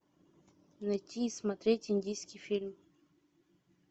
найти и смотреть индийский фильм